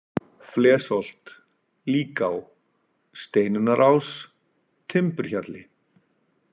Flesholt, Líká, Steinunnarás, Timburhjalli